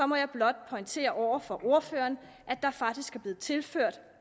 må jeg blot pointere over for ordføreren at der faktisk er blevet tilført